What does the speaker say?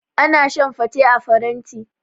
Ana shan fate a faranti.